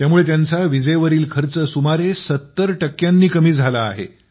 त्यामुळे त्यांचा विजेवरील खर्च सुमारे ७० टक्क्यांनी कमी झाला आहे